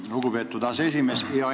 Lugupeetud aseesimees!